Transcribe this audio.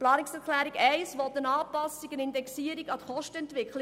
Die Planungserklärung 1 will eine Anpassung und Indexierung an die Kostenentwicklung.